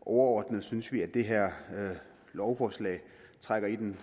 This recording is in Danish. overordnet synes vi at det her lovforslag trækker i den